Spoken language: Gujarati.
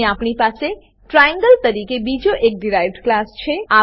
અહીં આપણી પાસે ટ્રાયેંગલ તરીકે બીજો એક ડીરાઇવ્ડ ક્લાસ છે